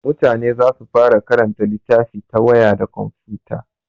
Mutane za su fara karanta littafi ta waya da komfuta.